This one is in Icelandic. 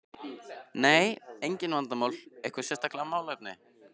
Nei, engin vandamál Eitthvað sérstakt málefni?